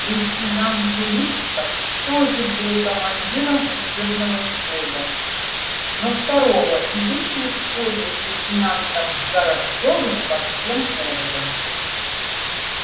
лейтенант величко тоже был командиром учебного взвода но второго и вечно спорил с лейтенантом горобцовым по всем поводам